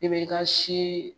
I bɛ i ka se